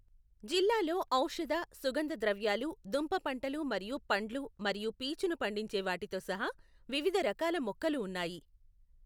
జిల్లాలో ఔషధ, సుగంధ ద్రవ్యాలు, దుంప పంటలు మరియు పండ్లు మరియు పీచును పండించే వాటితో సహా వివిధ రకాల మొక్కలు ఉన్నాయి.